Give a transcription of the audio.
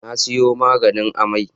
Na sayo maganin amai.